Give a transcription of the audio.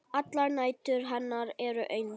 Allar nætur hennar eru eins.